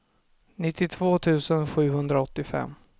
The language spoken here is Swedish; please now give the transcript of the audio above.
nittiotvå tusen sjuhundraåttiofem